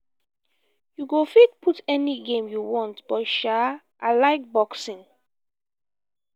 you go fit put any game you want but sha i like boxing